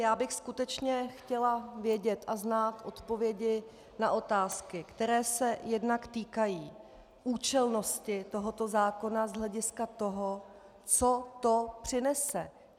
Já bych skutečně chtěla vědět a znát odpovědi na otázky, které se jednak týkají účelnosti tohoto zákona z hlediska toho, co to přinese.